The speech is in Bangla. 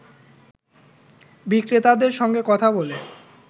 বিক্রেতাদের সঙ্গে কথা বলে